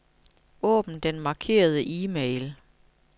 Åbn den markerede e-mail.